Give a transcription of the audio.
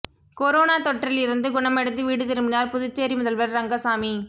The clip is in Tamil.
கொரோனா தொற்றில் இருந்து குணமடைந்து வீடு திரும்பினார் புதுச்சேரி முதல்வர் ரங்கசாமி